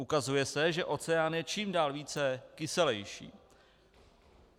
Ukazuje se, že oceán je čím dál více kyselejší.